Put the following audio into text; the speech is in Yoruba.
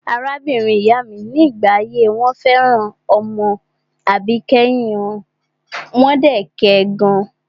Arábìnrin ìyá mi ní ìgbà ayé wọn fẹ́ràn ọmọ àbíkẹ́yìn wọn, wọ́n dẹ̀ kẹ gan.